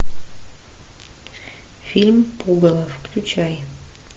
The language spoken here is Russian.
фильм пугало включай